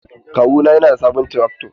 Kawuna yana da sabon trakto.